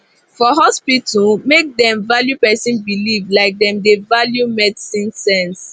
for hospital make dem value person belief like dem dey value medicine sense